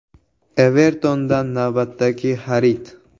“Everton”dan navbatdagi xarid.